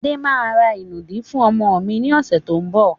Adé máa ra ìnùdí fún ọmọ mi ni ọ̀sẹ̀ tó ń bọ̀.